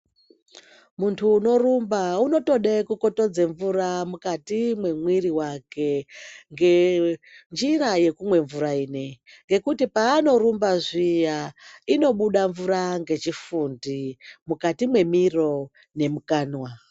Munthu unorumba unotode kukotodze mvura mukati mwemwiri wake ngenjira yekumwe mvura inei ngekuti paanorumba zviya inobuda mvura ngechifundi mukati mwemiro nemukanwa.